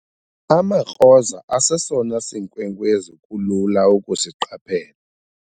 amaKroza asesona sinkwenkwezi kulula ukusiqaphela